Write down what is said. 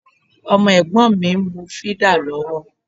Ọmọ Ẹ̀gbọ́n mi ń mu fídà lọ́wọ́